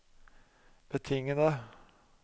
betingede